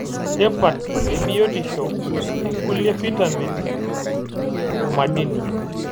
Tipat ebiotisho e kulie fitamen o madini.